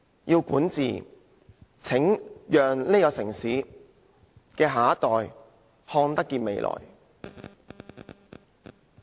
如要善治，便要讓這個城市的下一代看得見未來。